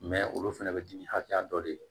olu fɛnɛ bɛ dimi hakɛya dɔ de